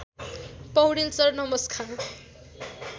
Paudel sir नमस्कार